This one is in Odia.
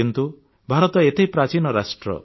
କିନ୍ତୁ ଭାରତ ଏତେ ପ୍ରାଚୀନ ରାଷ୍ଟ୍ର